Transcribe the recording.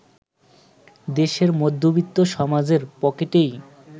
দেশের মধ্যবিত্ত সমাজের পকেটেই